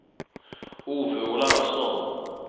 Ove Olausson